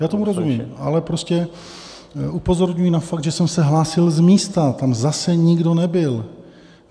Já tomu rozumím, ale prostě upozorňuji na fakt, že jsem se hlásil z místa, tam zase nikdo nebyl.